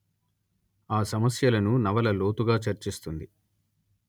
ఆ సమస్యలను నవల లోతుగా చర్చిస్తుంది